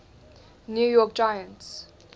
new york giants